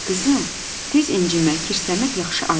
Qızım, tez incimək, kirlənmək yaxşı adət deyil.